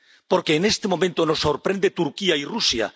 Porque en este momento nos sorprenden Turquía y Rusia.